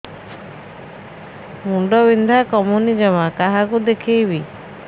ମୁଣ୍ଡ ବିନ୍ଧା କମୁନି ଜମା କାହାକୁ ଦେଖେଇବି